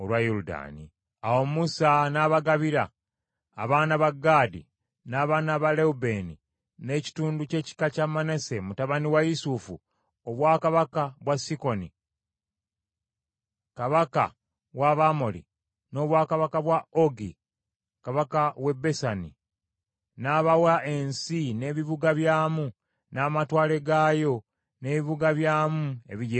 Awo Musa n’abagabira, abaana ba Gaadi n’abaana ba Lewubeeni, n’ekitundu ky’ekika kya Manase mutabani wa Yusufu, obwakabaka bwa Sikoni kabaka w’Abamoli, n’obwakabaka bwa Ogi kabaka w’e Basani, n’abawa ensi n’ebibuga byamu, n’amatwale gaayo n’ebibuga byamu ebigyetoolodde.